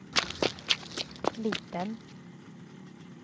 liten